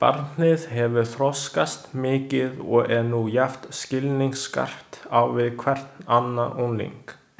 Barnið hefur þroskast mikið og er nú jafn skilningsskarpt á við hvern annan ungling.